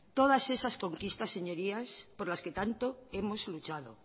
todas esas conquistas señorías por las que tanto hemos luchado